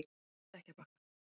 Stekkjarbakka